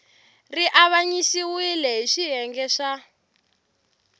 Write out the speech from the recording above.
ri avanyisiwile hi swiyenge swa